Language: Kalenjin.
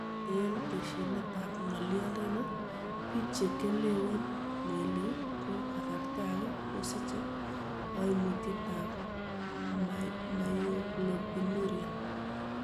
En tesyinetab ng'olyondoni, biik chekewelen melik ko kasarta age kosiche koimutietab myoglobinuria.